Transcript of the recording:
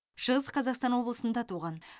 шығыс қазақстан облысында туған